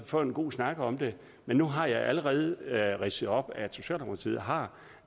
få en god snak om det men nu har jeg allerede ridset op at socialdemokratiet har